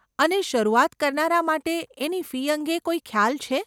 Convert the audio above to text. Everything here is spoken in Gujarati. અને શરૂઆત કરનારા માટે એની ફી અંગે કોઈ ખ્યાલ છે?